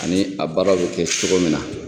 Ani a baara bɛ kɛ cogo min na.